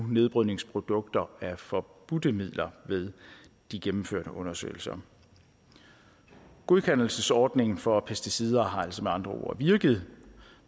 nedbrydningsprodukter af forbudte midler ved de gennemførte undersøgelser godkendelsesordningen for pesticider har altså med andre ord virket